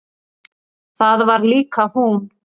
Það var líka hún.